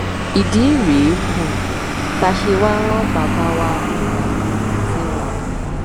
ìdí rèé um tá a ṣe wàá rán bàbá wa olùbàdàn um sí wọn